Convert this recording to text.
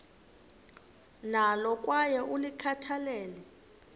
nalo kwaye ulikhathalele